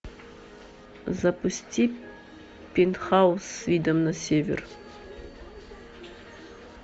запусти пентхаус с видом на север